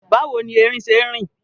Báwo ni erin ṣe ń rìn?